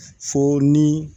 Fo ni